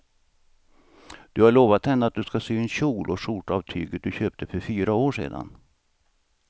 Du har lovat henne att du ska sy en kjol och skjorta av tyget du köpte för fyra år sedan.